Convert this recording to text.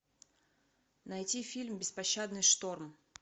найти фильм беспощадный шторм